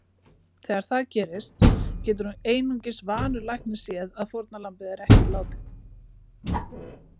Þegar það gerist getur einungis vanur læknir séð að fórnarlambið er ekki látið.